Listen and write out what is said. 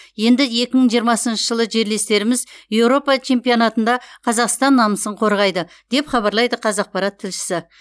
енді екі мың жиырмасыншы жылы жерлестеріміз еуропа чемпионатында қазақстан намысын қорғайды деп хабарлайды қазақпарат тілшісі